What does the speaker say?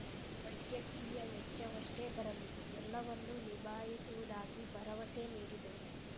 ವೈದ್ಯಕೀಯ ವೆಚ್ಚವೆಷ್ಟೇ ಬರಲಿ ಎಲ್ಲವನ್ನೂ ನಿಭಾಯಿಸುವುದಾಗಿ ಭರವಸೆ ನೀಡಿದರು